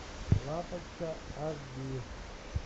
лапочка аш ди